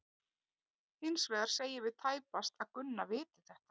Hins vegar segjum við tæpast að Gunna viti þetta.